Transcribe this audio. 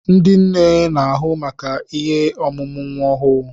Ndị nne n'ahụ maka ihe emume nwa ọhụụ.